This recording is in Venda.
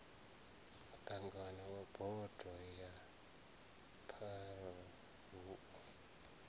muṱangano wa bodo ya pharou